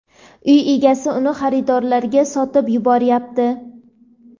uy egasi uni xaridorlarga sotib yuboryapti.